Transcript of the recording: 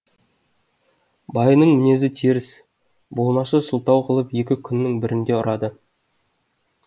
байының мінезі теріс болмашы сылтау қылып екі күннің бірінде ұрады